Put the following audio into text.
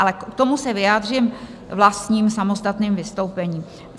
Ale k tomu se vyjádřím vlastním samostatným vystoupením.